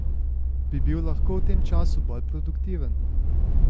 Bi bil lahko v tem času bolj produktiven?